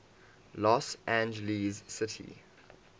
los angeles city